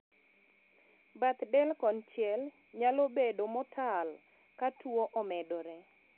Bath del konchiel nyalo bedo motal ka tuo omedore